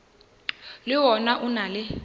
le wona o na le